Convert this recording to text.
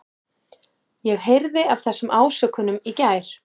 Ég heyrði af þessum ásökunum í gær.